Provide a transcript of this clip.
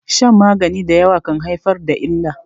shan magani da yawa kan haifar da illa